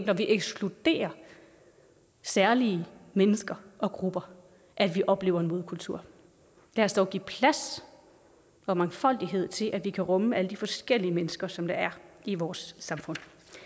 når vi ekskluderer særlige mennesker og grupper at vi oplever en modkultur lad os dog give plads for mangfoldighed til at vi kan rumme alle de forskellige mennesker som der er i vores samfund